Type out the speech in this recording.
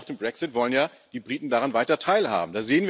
Und selbst nach dem Brexit wollen ja die Briten daran weiter teilhaben.